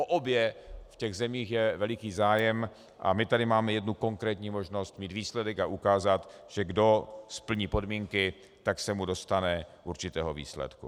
O obě v těch zemích je veliký zájem a my tady máme jednu konkrétní možnost mít výsledek a ukázat, že kdo splní podmínky, tak se mu dostane určitého výsledku.